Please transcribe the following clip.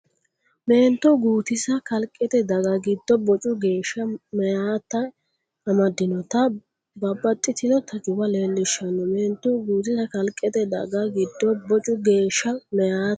Meento Guutisa Kalqete daga giddo bocu geeshsha meyaati amaddannota babbaxxitino tajuwa leellishshanno Meento Guutisa Kalqete daga giddo bocu geeshsha meyaati.